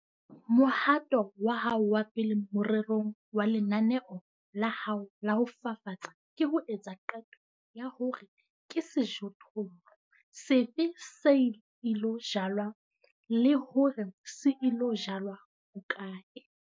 Mohato wa hao wa pele morerong wa lenaneo la hao la ho fafatsa ke ho etsa qeto ya hore ke sejothollo sefe se ilo jalwa le hore se ilo jalwa hokae.